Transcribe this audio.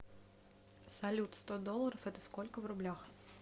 салют сто долларов это сколько в рублях